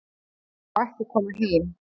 Hann má ekki koma heim